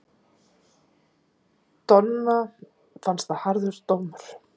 Donna fannst það harður dómur.